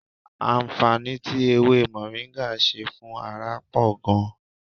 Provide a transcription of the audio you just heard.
Àǹfààní tí ewé mọ̀ríńgà ṣe fún ara pọ̀ gan-an